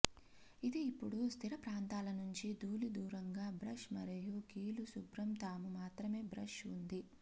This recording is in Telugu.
ఇది ఇప్పుడు స్థిర ప్రాంతాల నుంచి ధూళి దూరంగా బ్రష్ మరియు కీలు శుభ్రం తాము మాత్రమే బ్రష్ ఉంది